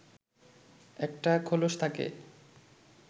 একটা খোলস থাকে